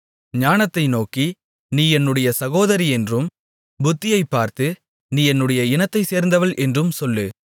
ஞானத்தை நோக்கி நீ என்னுடைய சகோதரி என்றும் புத்தியைப்பார்த்து நீ என்னுடைய இனத்தைச் சேர்ந்தவள் என்றும் சொல்லு